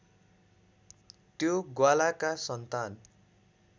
त्यो ग्वालाका सन्तान